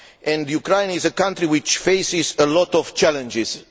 It is a country which faces a lot of challenges.